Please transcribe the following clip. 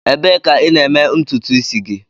Ebee ka ị na-eme ntutu isi gị?